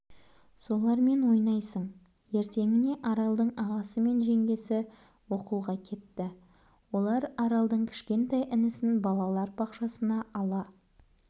солармен ойнайсың ертеңіне аралдың ағасы мен жеңгесі оқуға кетті олар аралдың кішкентай інісін балалар бақшасына ала